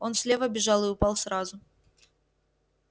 он слева бежал и упал сразу